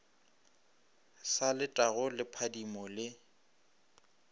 sa letago le phadimo le